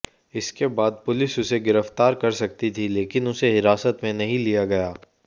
इसेक बाद पुलिस उसे गिरफ्तार कर सकती थी लेकिन उसे हिरासत में नहीं लिया गया